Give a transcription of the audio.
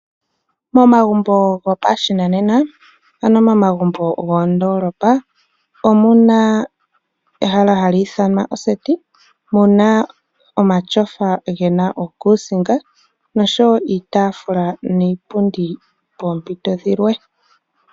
Momagumbo gopashinanena ano momagumbo gomoondolopa omuna ehala hali ithanwa oseti muna omatyofa gena uukusinga noshowo iitafula niipundi poompito dhilwe.